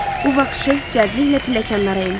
Bu vaxt Şeyx cəldliklə pilləkənlərə endi.